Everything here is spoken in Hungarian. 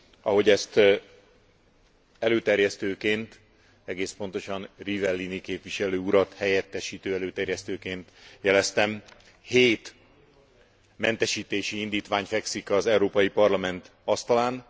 Ahogy ezt előterjesztőként, egész pontosan Rivellini képviselő urat helyettesítő előterjesztőként jeleztem, hét mentesítési indítvány fekszik az Európai Parlament asztalán.